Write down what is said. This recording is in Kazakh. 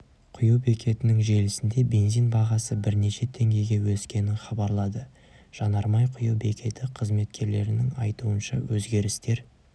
құю бекетінің желісінде бензин бағасы бірнеше теңгеге өскенін хабарлады жанармай құю бекеті қызметкерлерінің айтуынша өзгерістер